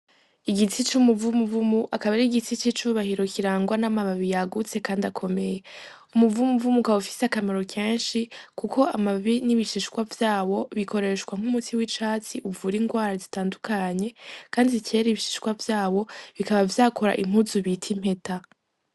Igitsi c'umuvumu vumu akaba ari igitsi c'icubahiro kirangwa n'amababi yagutse, kandi akomeye umuvumu vumu ukaba ufise akamaro kenshi, kuko amababi n'ibishishwa vyabo bikoreshwa nk'umutsi w'icatsi uvura ingwara zitandukanye, kandi zicera ibishishwa vyabo bikaba vyakora impuzu bita impeta.